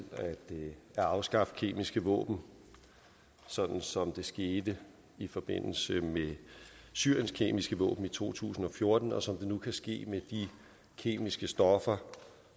at afskaffe kemiske våben sådan som det skete i forbindelse med syriens kemiske våben i to tusind og fjorten og som det nu kan ske med de kemiske stoffer